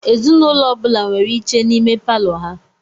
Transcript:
Ezinụlọ ọ bula nwèrè iche n'ime Palọ ha.